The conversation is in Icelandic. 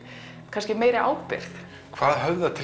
kannski meiri ábyrgð hvað höfðar til